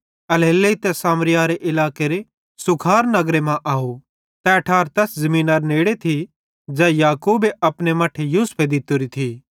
एल्हेरेलेइ तै सामरिया इलाकेरे सूखार नगर मां अव तै ठार तैस ज़मीनरे नेड़े थी ज़ै याकूबे अपने मट्ठे यूसुफे दित्तोरी थी